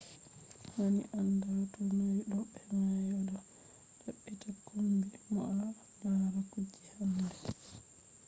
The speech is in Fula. hani a anda to nyauɗo mai to a do badita kombi mo bo a lara kuje handai